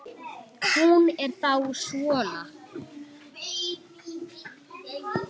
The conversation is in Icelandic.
Hún er þá svona!